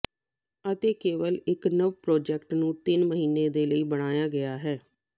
ਅਤੇ ਕੇਵਲ ਇੱਕ ਨਵ ਪ੍ਰਾਜੈਕਟ ਨੂੰ ਤਿੰਨ ਮਹੀਨੇ ਦੇ ਲਈ ਬਣਾਇਆ ਗਿਆ ਹੈ